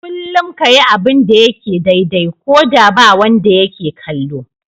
Kullum ka yi abin da yake daidai, ko da ba wanda yake kallo.